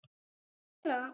Ég skal gera það.